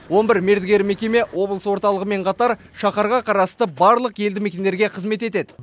он бір мердігер мекеме облыс орталығымен қатар шаһарға қарасты барлық елді мекендерге қызмет етеді